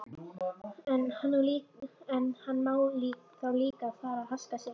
En hann má þá líka fara að haska sér.